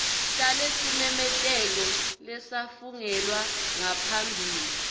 talesimemetelo lesafungelwa ngaphambi